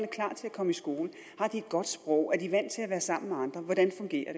komme i skole har de et godt sprog er de vant til at være sammen med andre hvordan fungerer